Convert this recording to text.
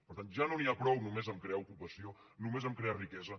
per tant ja no n’hi ha prou només amb crear ocupació només amb crear riquesa